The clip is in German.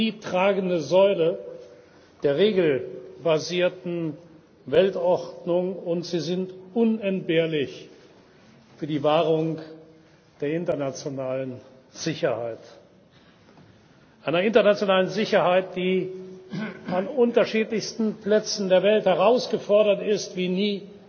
Sie sind die tragende Säule der regelbasierten Weltordnung, und sie sind unentbehrlich für die Wahrung der internationalen Sicherheit einer internationalen Sicherheit, die an unterschiedlichsten Plätzen der Welt herausgefordert ist wie